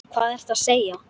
Hvað ertu að segja?